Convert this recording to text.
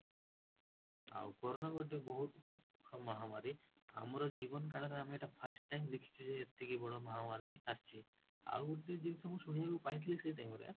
ଆଉ କରନା ଗୋଟେ ବହୁତ ମହାମାରୀ, ଆମ ଜୀବନ କାଳରେ ଆମେ ଏଟା first time ଦେଖିଛେ ଏତିକି ବଡ଼ ମାହାମାରୀ ଏସିଛି, ଆଉ ଗୋଟେ ଜିନିଷ ମୁଁ ଶୁଣିବାକୁ ପାଇଥିଲେ ସେଇ time ରେ